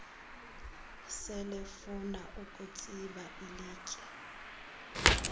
selefuna ukutsiba ilitye